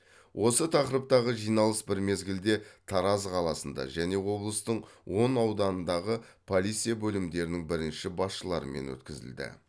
осы тақырыптағы жиналыс бір мезгілде тараз қаласында және облыстың он ауданындағы полиция бөлімдерінің бірінші басшыларымен өткізілді